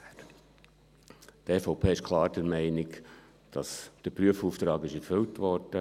Die EVP ist klar der Meinung, dass der Prüfauftrag erfüllt wurde.